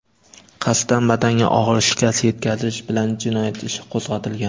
qasddan badanga og‘ir shikast yetkazish) bilan jinoyat ishi qo‘zg‘atilgan.